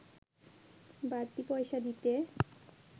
বাড়তি পয়সা দিতে